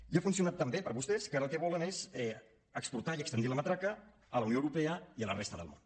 i ha funcionat tan bé per a vostès que ara el que volen és exportar i estendre la matraca a la unió europea i a la resta del món